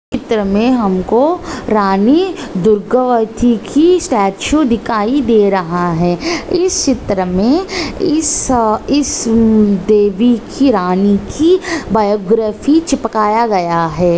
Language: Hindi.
चित्र मे हमको रानी दुर्गवाती की स्टैचू दिखाई दे रहा है इस चित्र मे इस इस देवी की रानी की बायोग्राफी चिपकाया गया है।